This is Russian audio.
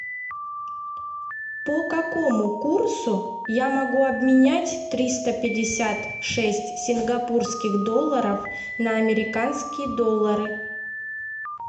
по какому курсу я могу обменять триста пятьдесят шесть сингапурских долларов на американские доллары